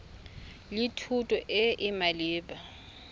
le thuto e e maleba